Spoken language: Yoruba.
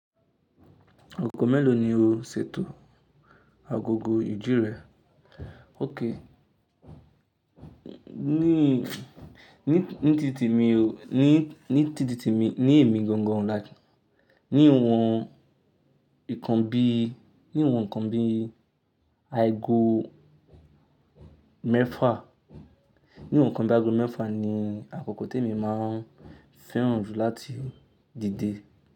Akọko mélòó ni o ṣètò agogo iji re? Ók, ní, ní, ní tìtemi mi o, ní, ní tìtemi, ní èmi gangan like, níwọn nkan bí, níwọn nkan bí aago mẹ́fà, níwọn nkan bí aago mẹ́fà ni àkókò tí èmi máa fẹ́ràn jù láti dìde.